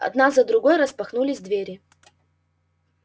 одна за другой распахнулись двери